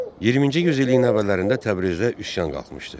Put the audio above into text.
20-ci yüzilliyin əvvəllərində Təbrizdə üsyan qalxmışdı.